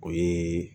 O ye